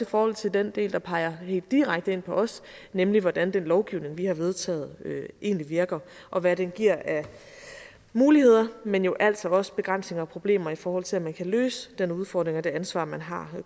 forhold til den del der peger direkte ind på os nemlig hvordan den lovgivning vi har vedtaget egentlig virker og hvad den giver af muligheder men jo altså også begrænsninger og problemer i forhold til at man kan løse den udfordring og det ansvar man har